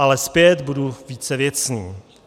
Ale zpět, budu více věcný.